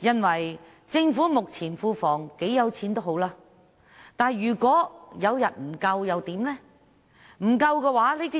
儘管政府目前庫房很富有，但如果有一天不足夠，